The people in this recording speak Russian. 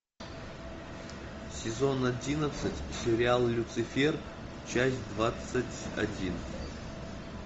сезон одиннадцать сериал люцифер часть двадцать один